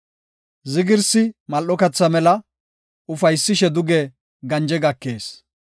Zigirsi mal7o katha mela; ufaysishe duge ganje gakees.